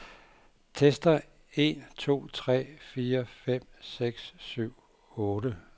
Tester en to tre fire fem seks syv otte.